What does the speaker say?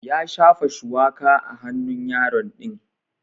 Ya shafa shuwaka a hannun yaro din.